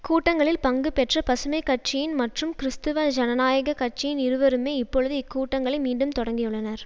கூட்டங்களில் பங்கு பெற்ற பசுமை கட்சியின் மற்றும் கிறிஸ்துவ ஜனநாயக கட்சியின் இருவருமே இப்பொழுது இக்கூட்டங்களை மீண்டும் தொடக்கியுள்ளனர்